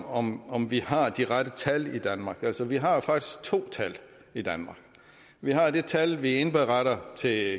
om om vi har de rette tal i danmark altså vi har jo faktisk to tal i danmark vi har det tal vi indberetter til